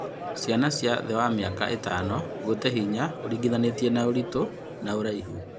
Ciana cia thĩ wa mĩaka ĩtano gũte hinya (ũringithanĩtie ũritũ na ũraihu)